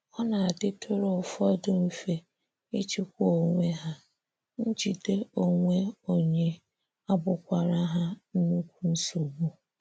Ọ na - adịtụrụ ụfọdụ mfe ịchịkwa onwe ha, njide onwe onye abụkwara ha nnukwu nsogbu.